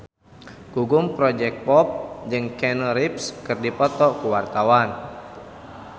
Gugum Project Pop jeung Keanu Reeves keur dipoto ku wartawan